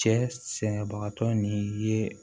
Cɛ sɛnɛbagatɔ ni ye